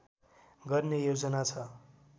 गर्ने योजना छ